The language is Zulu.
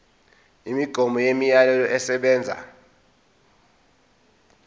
imigomo nemiyalelo esebenza